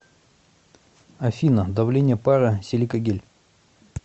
афина давление пара силикагель